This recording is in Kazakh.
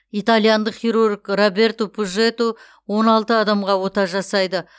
итальяндық хирург роберто пужеду он алты адамға ота жасайды